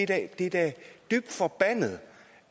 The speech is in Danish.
det er da dybt forbandet